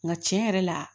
Nka tiɲɛ yɛrɛ la